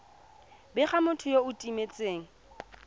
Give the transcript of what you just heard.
bega motho yo o timetseng